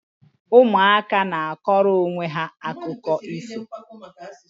Ụmụaka na akọrọ onwe ha akụkọ ifo